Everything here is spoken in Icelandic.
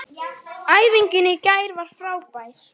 Æfingin í gær var frábær.